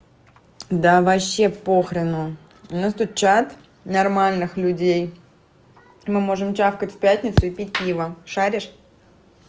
да вообще по хрену у нас тут чат нормальных людей мы можем чавкать в пятницу и пить пиво шаришь